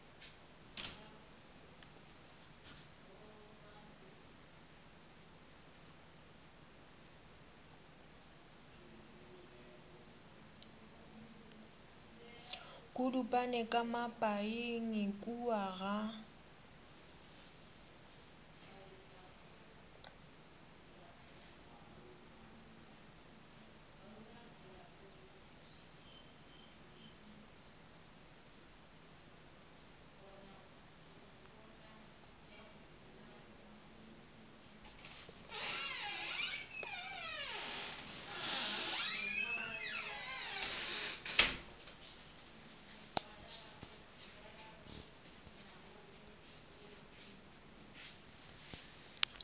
kudupane ka mapaing kua ga